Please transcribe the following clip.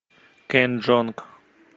кен джонг